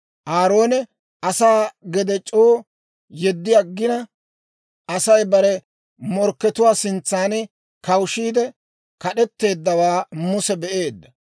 Aaroone asaa gede c'oo yeddi aggina, Asay bare morkkatuwaa sintsan kawushiide kad'etteeddawaa Muse be'eedda.